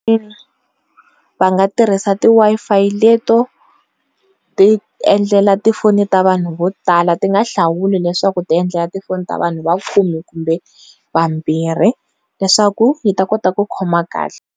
Va nga tirhisa ti Wi-Fi leto, ti endlela tifoni ta vanhu vo tala ti nga hlawuli leswaku ti endla tifoni ta vanhu va khume kumbe vambirhi leswaku yi ta kota ku khoma kahle.